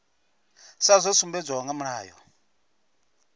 sa zwo sumbedzwaho kha mulayo